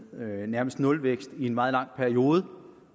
nærmest nulvækst i en meget lang periode